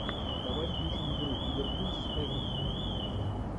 давай включим игру ливерпуль с эвертоном